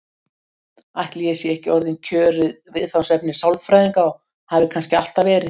Ætli ég sé ekki orðinn kjörið viðfangsefni sálfræðinga og hafi kannski alltaf verið?